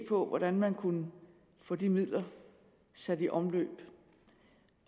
på hvordan man kunne få de midler sat i omløb